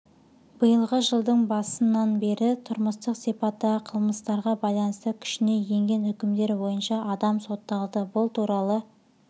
биылғы жылдың басынына бері тұрмыстық сипаттағы қылмыстарға байланысты күшіне енген үкімдер бойынша адам сотталды бұл туралы